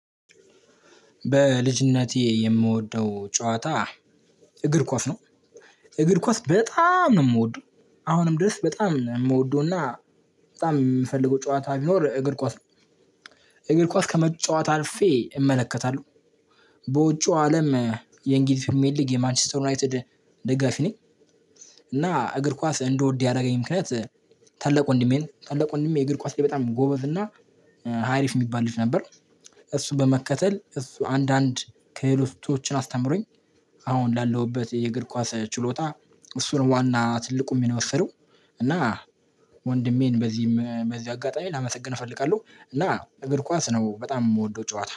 በልጅነቴ የምወደው ጨዋታ እግር ኳስ ነው፣ እግር ኳስ በጣም ነው የምወደው፣ አሁንም ድረስ በጣም ነው የምወደውና በጣም የምፈልገው ጨዋታ ቢኖር እግር ኳስ ነው። እግር ኳስ ከመጫወት አልፌ እመለከታለሁ፣ በውጪው አለም የእንግሊዝ ፕሪሚየር ሊግ የማንችስተር ዩናይትድ ደጋፊ ነኝ። እና፣ እግር ኳስ እንድወድ ያረገኝ ምክንያት ታላቅ ወንድሜ ነው፣ ታላቅ ወንድሜ የእግር ኳስ ላይ በጣም ጎበዝና አሪፍ የሚባል ልጅ ነበር እሱን በመከተል፣ እሱ አንዳንድ ከህሎቶችን አስተምሮኝ አሁን ላለውበት የእግር ኳስ ችሎታ እሱ ነው ዋና ትልቁን ሚና የወሰደው እና""" ወንድሜን በዚህ አጋጣሚ ላመሰግን እፈልጋለሁ፣ እና እግር ኳስ ነው በጣም የምወደው ጨዋታ